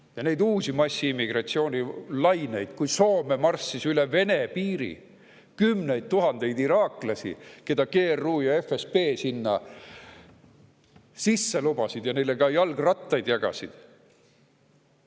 – ja neid uusi massiimmigratsiooni laineid, kui Soome marssis üle Vene piiri kümneid tuhandeid iraaklasi, keda GRU ja FSB sinna sisse lubasid ja neile ka jalgrattaid jagasid.